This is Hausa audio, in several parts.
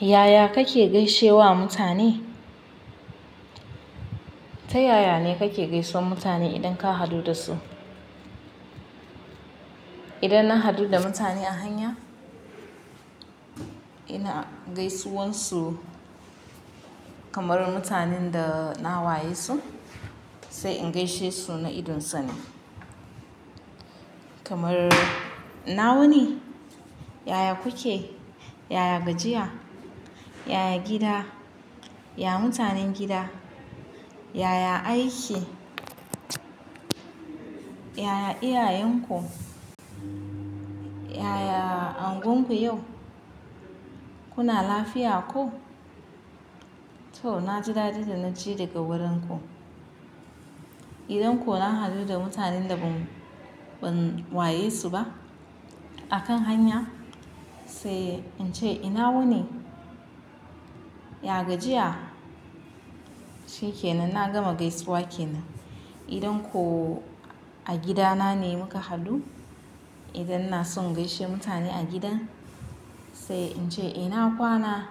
Yaya kake gaishe wa mutane? Ta yaya ne kake gaisuwan mutane idan ka haɗu da su? Idan na haɗu da mutane a hanya, ina gaisuwan su kamar mutanen da na waye su, sai in gaishe su na idon sani. Kamar, ina wuni, yaya kuke, yaya gajiya, yaya gida, ya mutanen gida, yaya aiki, yaya iyayenku, yaya anguwanku yau, kuna lafiya ko? To na ji da dadin da na ji daga wurin ku. Idan ko na haɗu da mutanen da ban waye su ba a kan hanya sai in ce ina wuni, ya gajiya, shikke nan na gama gaisuwa ke nan. Idan ko a gida na ne muka haɗu, idan na so in gaishe mutane a gidan sai in ce ina kwana,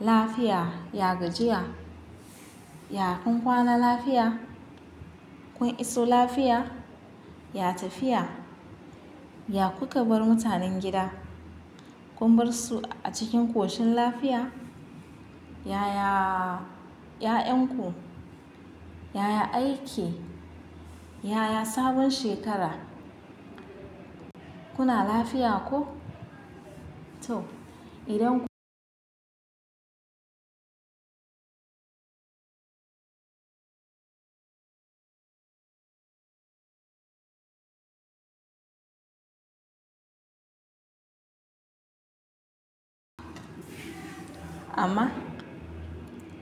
lafiya, ya gajiya, ya kun kwana lafiya, kun iso lafiya, ya tafiya, ya ku ka bar mutanen gida, kun bar su a cikin koshin lafiya, yaya 'ya'yan ku, yaya aiki, yaya sabon shekara, kuna lafiya ko? To idan amma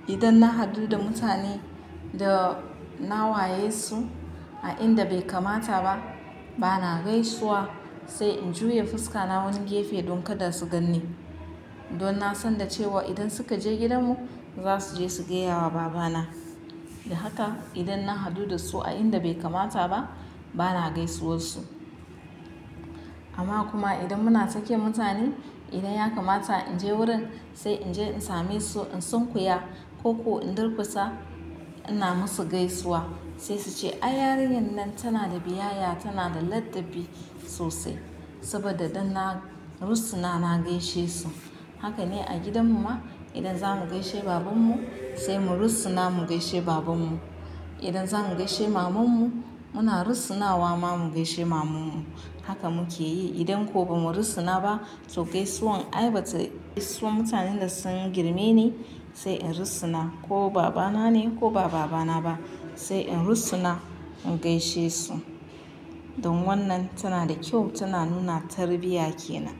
idan na haɗu da mutane da na waye su a inda bai kamata ba, bana gaisuwa sai in juya fuska na wani gefe don kada su ganni. Don na san da cewa idan suka je gidanmu za su je su gaya wa babana. Da haka idan na haɗu da su a inda bai kamata ba bana gaisuwar su. Amma kuma idan muna tsakiyar mutane, idan ya kamata in je wurin sai in je in same su in sunkuya ko ku in durkusa ina musu gaisuwa. Sai su ce ai yarinyar nan tana da biyayya, tana da ladabi sosai. Saboda idan na rusuna na gaishe su. Haka ne a gidan mu ma idan za mu gaishe babanmu sai mu rusuna mu gaishe babanmu. Idan za mu gaishe mamanmu muna rusuna wa ma mu gaishe mamanmu. Haka muke yi idan ko ba mu rusuna ba to gaisuwan ai Bata gaisuwa mutanen da sun girme ni sai in rusuna ko babana ne ko baba bana ba sai in rusuna in gaishe su. Don wannan tana da kyau tana nuna tarbiyya ke nan.